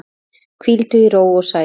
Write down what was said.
Hvíldu í ró og sælu.